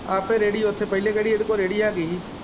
ਆਪੇ ਰੇੜੀ ਉੱਥੇ ਪਹਿਲ਼ੇ ਕਿਹੜੀ ਉਹਦੇ ਕੋਲ਼ ਰੇੜੀ ਹੈਗੀ।